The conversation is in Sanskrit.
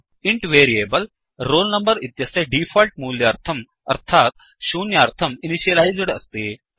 इन्ट् वेरियेबल् roll number इत्यस्य डीफोल्ट् मूल्यार्थम् अर्थात् शून्यार्थम् इनिशियलैस्ड् अस्ति